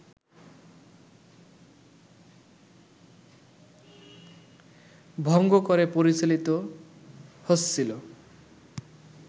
ভঙ্গ করে পরিচালিত হচ্ছিল